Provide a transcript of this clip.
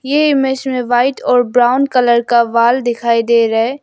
ये इमेज में व्हाइट और ब्राउन कलर का वॉल दिखाई दे रहा है।